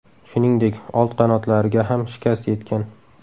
Shuningdek, old qanotlariga ham shikast yetgan.